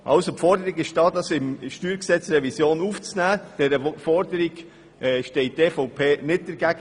Der Forderung im Sinne eines Postulats, dieses Anliegen in die Steuergesetzrevision einzubeziehen, steht die EVP-Fraktion nicht entgegen.